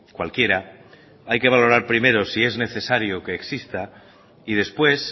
cualquiera hay que valorar primero si es necesario que exista y después